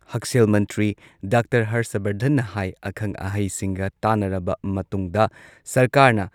ꯍꯛꯁꯦꯜ ꯃꯟꯇ꯭ꯔꯤ ꯗꯥꯛꯇꯔ ꯍꯔꯁ ꯕꯔꯙꯟꯅ ꯍꯥꯏ ꯑꯈꯪ ꯑꯍꯩꯁꯤꯡꯒ ꯇꯥꯟꯅꯔꯕ ꯃꯇꯨꯡꯗ ꯁꯔꯀꯥꯔꯅ